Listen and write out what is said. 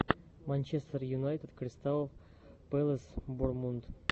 манчестер юнайтед кристал пэлас бор мунд